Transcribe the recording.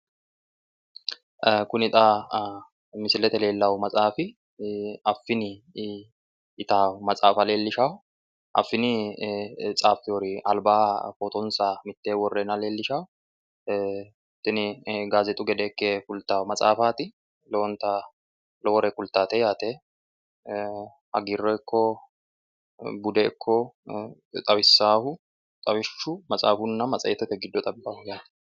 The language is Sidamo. Kuni xa misilete leelano maxaafi afiini yitano maxaaffa leelishano afiini tsafewori albaani foottonsa mittenni worenna kulta, tini gazexu gede ikka fulaeo maxafati lowore budeno ikko hagiireno giddo worronire xawisano